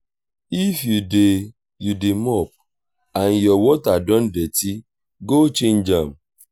if you dey you dey mop and your water don dirty go change am